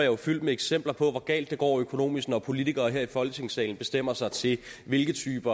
jo fyldt med eksempler på hvor galt det går økonomisk når politikere her i folketingssalen bestemmer sig til hvilke type